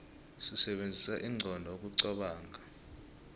sisebenzisa inqondo ukuqobonga